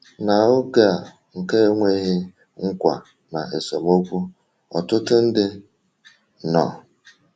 Na oge a nke enweghị nkwa na esemokwu, ọtụtụ ndị nọ.